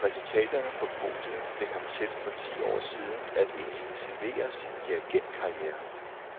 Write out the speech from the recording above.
Resultaterne på podiet fik ham for ti år siden til at intensivere sin dirigentkarriere.